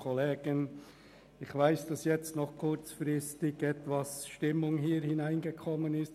Ich weiss, dass jetzt kurzfristig etwas Stimmung in diese Massnahme hineingekommen ist.